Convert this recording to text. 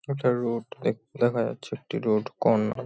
একটা রোড দেখ দেখা যাচ্ছে। একটি রোড কর্না --